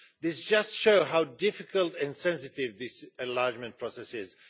This just shows how difficult and sensitive this enlargement process is.